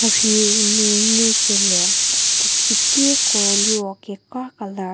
mha rhiu nu ngu kelie puo kietie ko liro kekra colour .